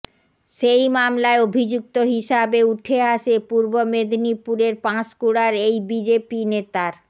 সেই মামলায় অভিযুক্ত হিসাবে উঠে আসে পূর্ব মেদিনীপুরের পাঁশকুড়ার এই বিজেপি নেতার